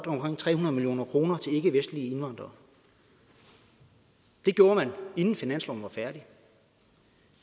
omkring tre hundrede million kroner til ikkevestlige indvandrere det gjorde man inden finansloven var færdig